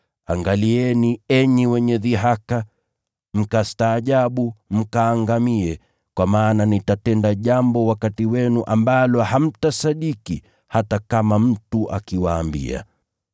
“ ‘Angalieni, enyi wenye dhihaka, mkastaajabu, mkaangamie, kwa maana nitatenda jambo wakati wenu ambalo hamtasadiki, hata kama mtu akiwaambia.’ ”